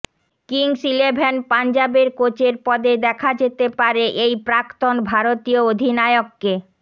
Kings Eleven পাঞ্জাবের কোচের পদে দেখা যেতে পারে এই প্রাক্তন ভারতীয় অধিনায়ককে